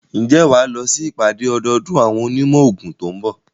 Ǹjẹ́ wà á lọ sí ìpàdé ọdọọdún àwọn onímọ̀ òògùn tó ń bọ̀?